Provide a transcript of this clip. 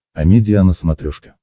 амедиа на смотрешке